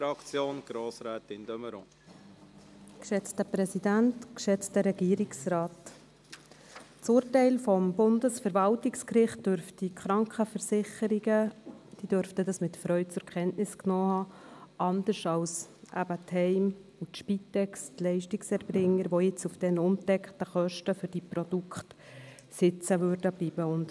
Das Urteil des Bundesverwaltungsgerichts dürften die Krankenversicherungen mit Freude zur Kenntnis genommen haben, anders als die Heime, die Spitex und die Leistungserbringer, die jetzt auf den ungedeckten Kosten für die Produkte sitzen bleiben.